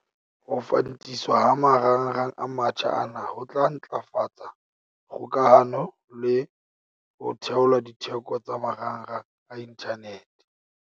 Ho fantiswa ha marangrang a mantjha ana ho tla ntlafatsa kgokahano le ho theola ditheko tsa marangrang a inthanete.